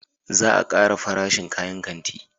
Za a kara farashin kayan kanti